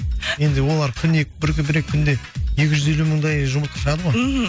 енді олар күніне бір екі күнде екі жүз елу мыңдай жұмыртқа шығады ғой мхм